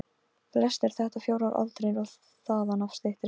Flestir þetta fjórar álnir og þaðan af styttri.